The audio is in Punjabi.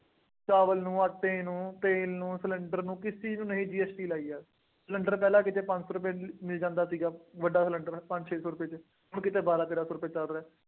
ਚਾਵਲ ਨੂੰ, ਆਟੇ ਨੂੰ, ਤੇਲ ਨੂੰ, ਸਿਲੰਡਰ ਨੂੰ, ਕਿਸ ਚੀਜ਼ ਨੂੰ ਨਹੀਂ GST ਲਾਈ ਹੈ। ਸਿਲੰਡਰ ਪਹਿਲਾਂ ਕਿਤੇ ਪੰਜ ਸੌ ਰੁਪਏ ਚ ਮਿਲ ਜਾਂਦਾ ਸੀਗਾ, ਵੱਡਾ ਸਿਲੰਡਰ, ਪੰਜ ਛੇ ਸੌ ਰੁਪਏ ਚ, ਹੁਣ ਕਿਤੇ ਬਾਰਾਂ ਤੇਰਾਂ ਸੌ ਰੁਪਏ ਚੱਲ ਰਿਹਾ।